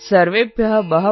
जे